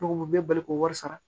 Ne ko u bɛɛ bɛ bali k'o wari sara